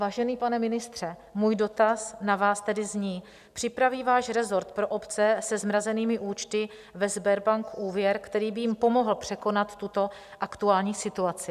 Vážený pane ministře, můj dotaz na vás tedy zní: Připraví váš resort pro obce se zmrazenými účty ve Sberbank úvěr, který by jim pomohl překonat tuto aktuální situaci?